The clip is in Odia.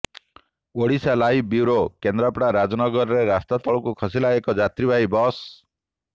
ଓଡ଼ିଶାଲାଇଭ୍ ବ୍ୟୁରୋ କେନ୍ଦ୍ରାପଡ଼ା ରାଜନଗରରେ ରାସ୍ତାତଳକୁ ଖସିଲା ଏକ ଯାତ୍ରୀବାହୀ ବସ୍